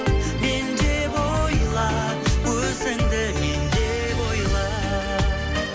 мен деп ойла өзіңді мен деп ойла